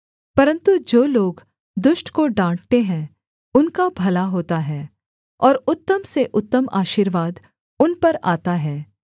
परन्तु जो लोग दुष्ट को डाँटते हैं उनका भला होता है और उत्तम से उत्तम आशीर्वाद उन पर आता है